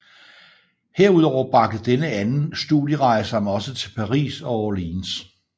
Herudover bragte denne anden studierejse ham også til Paris og Orleans